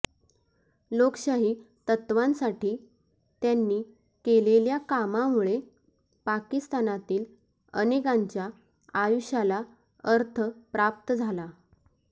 लोकशाही तत्वांसाठी त्यांनी केलेल्या कामामुळे पाकिस्तानातील अनेकांच्या आयुष्याला अर्थ प्राप्त झाला